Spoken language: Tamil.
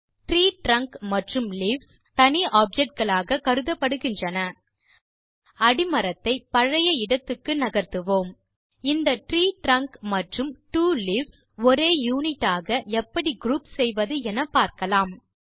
ட்ரீ ட்ரங்க் மற்றும் லீவ்ஸ் தனி ஆப்ஜெக்ட் களாக கருதப்படுகின்றன அடிமரத்தை பழைய இடத்துக்கு நகர்த்துவோம் இந்த ட்ரீ ட்ரங்க் மற்றும் ட்வோ leavesஒரே யுனிட் ஆக எப்படி குரூப் செய்வது என பார்க்கலாம்